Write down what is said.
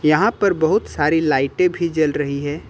यहां पर बहुत सारी लाइटें भी जल रही हैं।